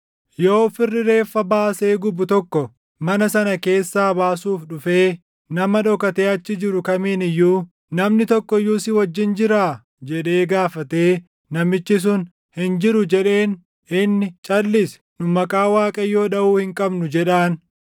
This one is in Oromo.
Yoo firri reeffa baasee gubu tokko mana sana keessaa baasuuf dhufee nama dhokatee achi jiru kamiin iyyuu, “Namni tokko iyyuu si wajjin jiraa?” jedhee gaafatee namichi sun, “Hin jiru” jedheen, inni “Calʼisi! Nu maqaa Waaqayyoo dhaʼuu hin qabnu” jedhaan.